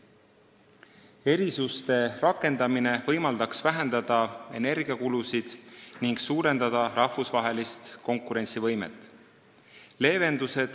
Erisuste rakendamine võimaldaks vähendada kulutusi energiale ning suurendada rahvusvahelist konkurentsivõimet.